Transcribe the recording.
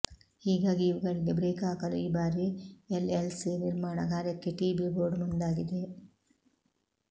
ಹೀಗಾಗಿ ಇವುಗಳಿಗೆ ಬ್ರೇಕ್ ಹಾಕಲು ಈ ಬಾರಿ ಎಲ್ಎಲ್ಸಿ ನಿರ್ಮಾಣ ಕಾರ್ಯಕ್ಕೆ ಟಿಬಿ ಬೋರ್ಡ್ ಮುಂದಾಗಿದೆ